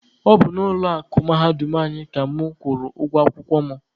Ọ bụ n'ụlọ akụ mahadum anyị ka mụ kwụrụ ụgwọ akwụkwọ mụ.